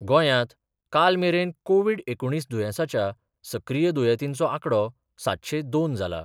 गोंयात कालमेरेन कोविड एकुणीस दुयेसाच्या सक्रिय दुयेतींचो आकडो सातशे दोन जाला.